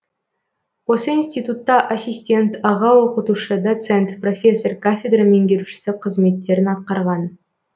осы институтта ассистент аға оқытушы доцент профессор кафедра меңгерушісі қызметтерін атқарған